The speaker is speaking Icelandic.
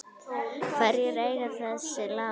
Hverjir eiga þessi lán?